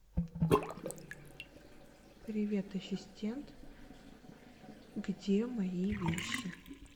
привет ассистент где мои вещи